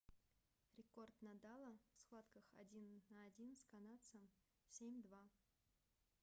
рекорд надала в схватках один на один с канадцем - 7-2